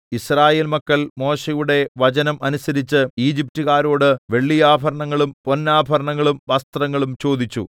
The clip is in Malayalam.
യിസ്രായേൽ മക്കൾ മോശെയുടെ വചനം അനുസരിച്ച് ഈജിപ്റ്റുകാരോട് വെള്ളിയാഭരണങ്ങളും പൊന്നാഭരണങ്ങളും വസ്ത്രങ്ങളും ചോദിച്ചു